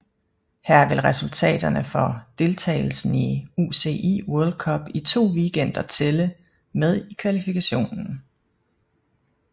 Her vil resultaterne for deltagelsen i UCI World Cup i to weekender tælle med i kvalifikationen